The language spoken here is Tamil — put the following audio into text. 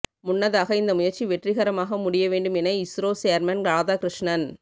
முன்னதாக இந்த முயற்சி வெற்றிகரமாக முடிய வேண்டும் என இஸ்ரோ சேர்மன் ராதாகிருஷ்ணன்